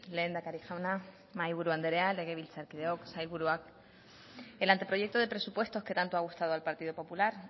lehendakari jauna mahai buru andrea legebiltzarkideok sailburuak el anteproyecto de presupuestos que tanto ha gustado al partido popular